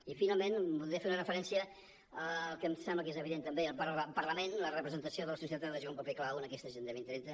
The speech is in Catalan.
i finalment voldria fer una referència al que em sembla que és evident també el parlament la representació de la societat ha de jugar un paper clau en aquesta agenda dos mil trenta